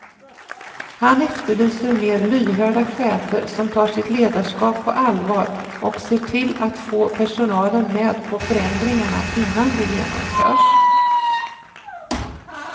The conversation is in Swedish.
Han efterlyser mer lyhörda chefer som tar sitt ledarskap på allvar och ser till att få personalen med på förändringarna innan de genomförs.